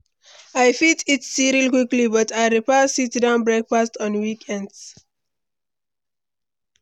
I fit eat cereal quickly, but I prefer sit-down breakfast on weekends.